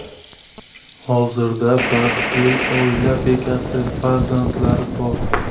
Hozirda baxtli oila bekasi, farzandlari bor.